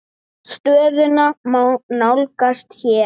Stöðuna má nálgast hér.